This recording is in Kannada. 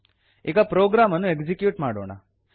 ಈಗ ಪ್ರೊಗ್ರಾಮ್ ಅನ್ನು ಎಕ್ಸಿಕ್ಯೂಟ್ ಮಾಡೋಣ